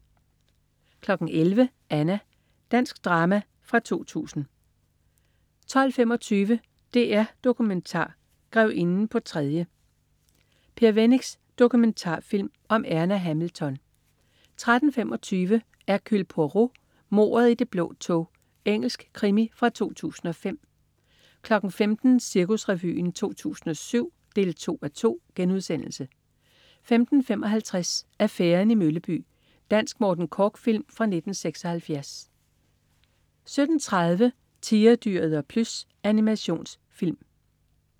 11.00 Anna. Dansk drama fra 2000 12.25 DR Dokumentar. Grevinden på tredje. Per Wennicks dokumentarfilm om Erna Hamilton 13.25 Hercule Poirot: Mordet i det blå tog. Engelsk krimi fra 2005 15.00 Cirkusrevyen 2007 2:2* 15.55 Affæren i Mølleby. Dansk Morten Korch-film fra 1976 17.30 Tigerdyret og Plys. Animationsserie